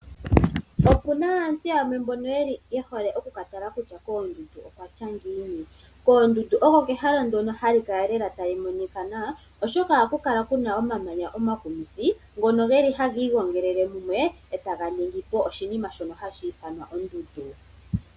Okuna aantu yamwe mbono yehole okukatala kusha koondundu okwatya ngiini. Koondundu oko kehala ndoka hali kala tali monika nawa oshoka ohaku kala kuna omamanya omakumithi ngono geli hagi ilongelele mumwe ee taga ningipo oshinima shoka hashi ithanwa ondundu.